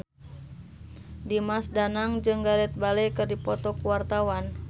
Dimas Danang jeung Gareth Bale keur dipoto ku wartawan